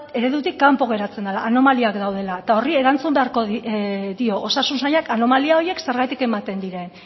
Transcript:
eredutik kanpo geratzen dela anomaliak daudela eta horri erantzun beharko dio osasun sailak anomalia horiek zergatik ematen diren